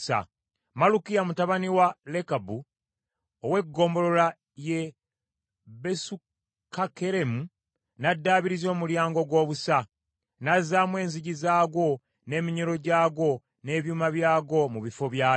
Malukiya mutabani wa Lekabu ow’eggombolola y’e Besukakkeremu n’addaabiriza Omulyango ogw’Obusa, n’azzaamu enzigi zaagwo, n’eminyolo gyagwo n’ebyuma byagwo mu bifo byabyo.